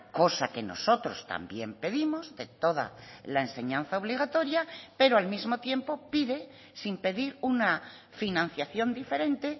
cosa que nosotros también pedimos de toda la enseñanza obligatoria pero al mismo tiempo pide sin pedir una financiación diferente